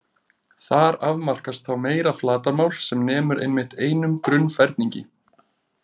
Þar afmarkast þá meira flatarmál sem nemur einmitt einum grunnferningi.